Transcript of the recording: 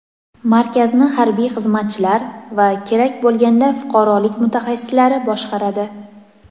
Markazni harbiy xizmatchilar va kerak bo‘lganda fuqarolik mutaxassislari boshqaradi.